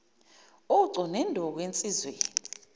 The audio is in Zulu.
ucu neduku ensizweni